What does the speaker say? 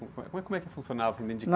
Como é, como é que funcionava ?ão...